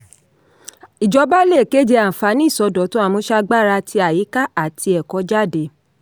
ìjọba le kéde àǹfàní ìsọdọ̀tun àmúṣagbára tì àyíká àti ẹkọ̀ ajé.